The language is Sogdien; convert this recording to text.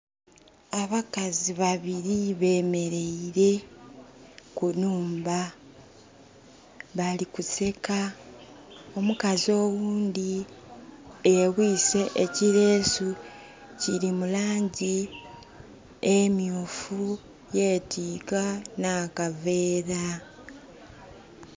Abakazi babili bemeleire ku nhumba, balikuseka. Omukazi oghundhi yebwiise ekileesu, kili mu laangi emyuufu, yetiika n'akaveera.